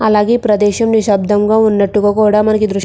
అలాగే ప్రదేశం నిశ్శబ్దంగా ఉన్నట్టుగా కూడా మనకి దృశ్యం --